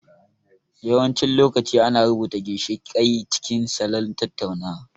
Yawancin lokaci ana rubuta ginshiƙai cikin salon tattaunawa.